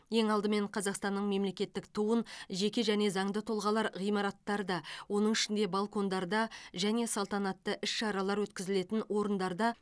ең алдымен қазақстанның мемлекеттік туын жеке және заңды тұлғалар ғимараттарда оның ішінде балкондарда және салтанатты іс шаралар өткізілетін орындарда